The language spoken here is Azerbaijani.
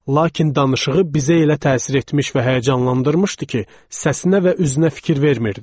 Lakin danışığı bizə elə təsir etmiş və həyəcanlandırmışdı ki, səsinə və üzünə fikir vermirdik.